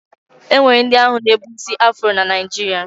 E nwere ndị na-ebu isi afụro na Naịjiria.